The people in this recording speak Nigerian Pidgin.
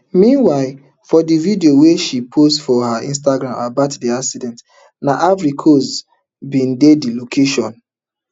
meanwhile for di video wey she post for her instagram about di accident na ivory coast bin dey di location